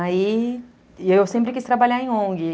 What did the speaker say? Aí, eu sempre quis trabalhar em ongue